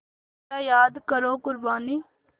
ज़रा याद करो क़ुरबानी